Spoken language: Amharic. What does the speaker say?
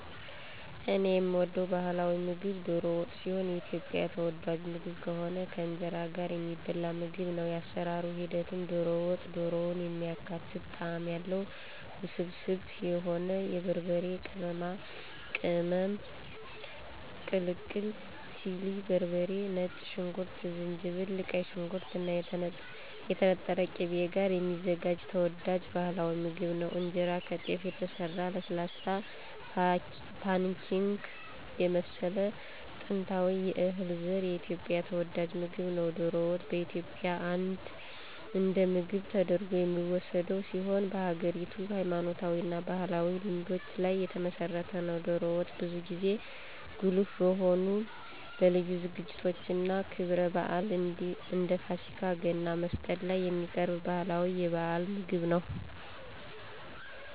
እኔ የምወደው ባህላዊ ምግብ ዶሮ ወጥ ሲሆን የኢትዮጵያ ተወዳጅ ምግብ ከሆነው ከእንጀራ ጋር የሚበላ ምግብ ነው። የአሰራር ሂደቱም - ዶሮ ወጥ - ዶሮን የሚያካትት ጣዕም ያለው፣ ውስብስብ የሆነ የበርበሬ ቅመማ ቅልቅል (ቺሊ በርበሬ፣ ነጭ ሽንኩርት፣ ዝንጅብል)፣ ቀይ ሽንኩርት እና የተነጠረ ቅቤ ጋር የሚዘጋጅ ተወዳጅ ባህላዊ ምግብ ነው። እንጀራ - ከጤፍ የተሰራ ለስላሳ፣ ፓንኬክ የመሰለ ጥንታዊ የእህል ዘር የኢትዮጵያ ተወዳጅ ምግብ ነው። ዶሮ ወጥ በኢትዮጵያ እንደ ምግብ ተደርጎ የሚወሰድ ሲሆን በሀገሪቱ ሃይማኖታዊ እና ባህላዊ ልማዶች ላይ የተመሰረተ ነው። ዶሮ ወጥ ብዙ ጊዜ ጉልህ በሆኑ ለልዩ ዝግጅቶች እና ክብረ በዓላት እንደ ፋሲካ፣ ገና፣ መስቀል ላይ የሚቀርብ ባህላዊ የበዓል ምግብ ነው።